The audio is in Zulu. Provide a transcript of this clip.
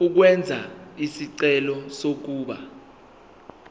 ukwenza isicelo sokuba